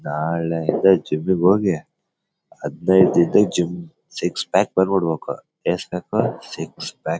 ನಾಳೆಯಿಂದ ಜಿಮ್ ಗೆ ಹೋಗಿ ಹದಿನೈದು ದಿನ ಜಿಮ್ ಸಿಕ್ಸ್ ಪ್ಯಾಕ್ ಬಂದ್ಬಿಡ್ಬೇಕು ಎಸ್ಟ್ ಬೇಕು ಸಿಕ್ಸ್ ಪ್ಯಾಕ್ .